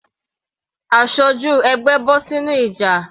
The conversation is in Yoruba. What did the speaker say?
Aṣojú ẹgbẹ́ bọ́ sínú ìjà.